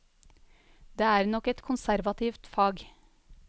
Det er nok et konservativt fag.